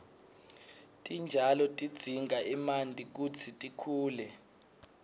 titjalo tidzinga emanti kutsi tikhule